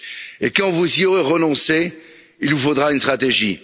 Et quand vous y aurez renoncé, il vous faudra une stratégie.